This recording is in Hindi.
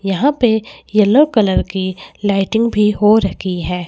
यहां पे येलो कलर की लाइटिंग भी हो रखी है।